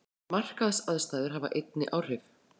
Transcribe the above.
Markaðsaðstæður hafi einnig áhrif